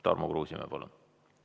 Tarmo Kruusimäe, palun!